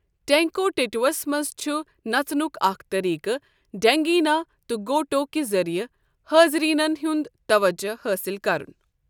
ٹینکوٹیٹووَس منٛز چُھ نَژنُک اَکھ طٔریقہٕ 'ڈھینگِینا' تہٕ 'گوٹو' کہِ ذٔریعہِ حاضٕریٖنَن ہُنٛد تَوَجَہ حٲصِل کرُن ۔